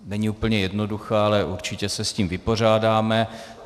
Není úplně jednoduchá, ale určitě se s ní vypořádáme.